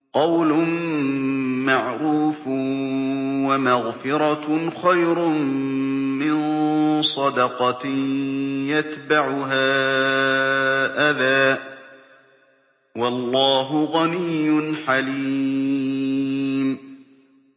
۞ قَوْلٌ مَّعْرُوفٌ وَمَغْفِرَةٌ خَيْرٌ مِّن صَدَقَةٍ يَتْبَعُهَا أَذًى ۗ وَاللَّهُ غَنِيٌّ حَلِيمٌ